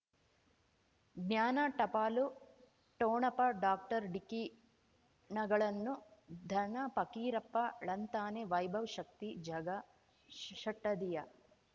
ಜ್ಞಾನ ಟಪಾಲು ಠೋಣಪ ಡಾಕ್ಟರ್ ಢಿಕ್ಕಿ ಣಗಳನು ಧನ ಫಕೀರಪ್ಪ ಳಂತಾನೆ ವೈಭವ್ ಶಕ್ತಿ ಝಗಾ ಷಟ್ಟದಿಯ